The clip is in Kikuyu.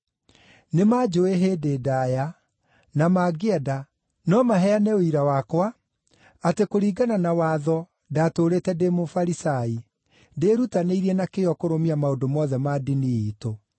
Nĩmanjũũĩ hĩndĩ ndaaya, na mangĩenda, no maheane ũira wakwa, atĩ kũringana na watho ndaatũũrĩte ndĩ Mũfarisai, ndĩĩrutanĩirie na kĩyo kũrũmia maũndũ mothe ma ndini iitũ.